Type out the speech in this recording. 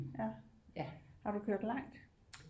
Ja har du kørt langt